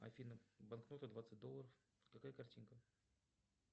афина банкнота двадцать долларов какая картинка